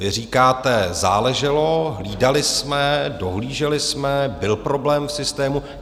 Vy říkáte - záleželo, hlídali jsme, dohlíželi jsme, byl problém v systému.